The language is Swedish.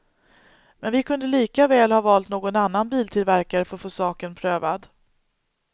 Men vi kunde lika väl ha valt någon annan biltillverkare för att få saken prövad.